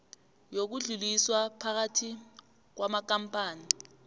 yokudluliswa phakathi kwamakampani